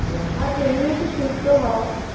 আর তুমি একটু সুস্থ হও